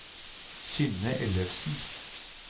Synne Ellefsen